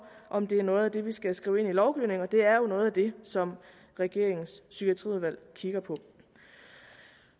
om det er noget af det vi skal skrive ind i lovgivningen og det er jo noget af det som regeringens psykiatriudvalg kigger på